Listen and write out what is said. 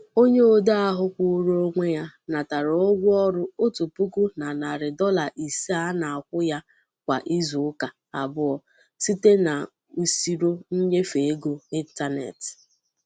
Onye odee ahụ kwụụrụ onwe ya natara ụgwọ ọrụ otu puku na narị dollar ise a na-akwụ ya kwà izuụka abụọ site n'usiro nnyefe ego ịntanetị.